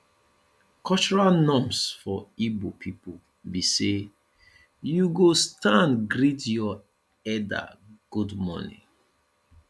cultural norms for igbo pipo bi say yu go stand greet yur elder good morning